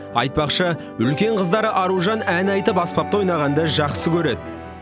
айтпақшы үлкен қыздары аружан ән айтып аспапта ойнағанды жақсы көреді